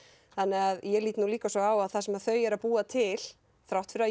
þannig ég lít líka svo á að það sem þau eru að búa til þrátt fyrir að